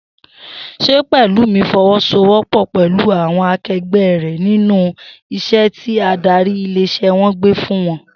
S̩e Pè̩lúmi fo̩wó̩sowó̩pò̩ pè̩lú àwo̩n ake̩gbé̩ rè̩ nínú is̩é̩ tí adarí ilé is̩é̩ wo̩n gbé fún wo̩n?